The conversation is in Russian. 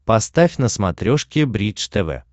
поставь на смотрешке бридж тв